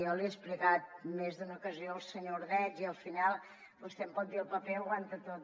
jo li he explicat en més d’una ocasió al senyor ordeig i al final vostè em pot dir el paper ho aguanta tot